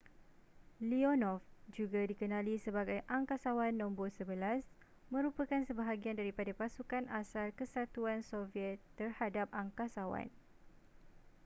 leonov juga dikenali sebagai angkasawan no 11 merupakan sebahagian daripada pasukan asal kesatuan soviet terhadap angkasawan